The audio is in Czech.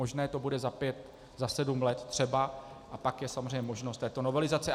Možné to bude za pět, za sedm let, třeba, a pak je samozřejmě možnost této novelizace.